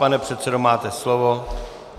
Pane předsedo, máte slovo.